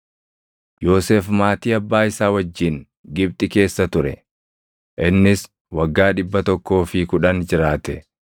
Yoosef maatii abbaa isaa wajjin Gibxi keessa ture. Innis waggaa dhibba tokkoo fi kudhan jiraate.